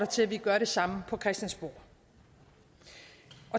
til at vi gør det samme på christiansborg